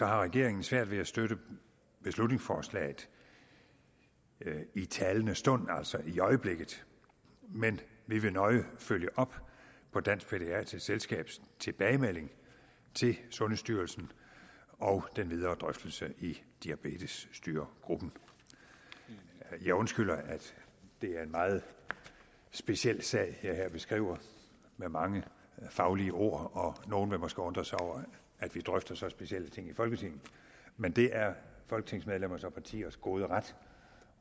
har regeringen svært ved at støtte beslutningsforslaget i talende stund altså i øjeblikket men vi vil nøje følge op på dansk pædiatrisk selskabs tilbagemelding til sundhedsstyrelsen og den videre drøftelse i diabetesstyregruppen jeg undskylder at det er en meget speciel sag jeg her beskriver med mange faglige ord og nogle vil måske undre sig over at vi drøfter så specielle ting i folketinget men det er folketingsmedlemmers og partiers gode ret